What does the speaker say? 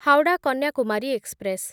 Howrah Kanyakumari express